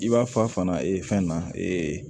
I b'a fɔ a fana fɛn na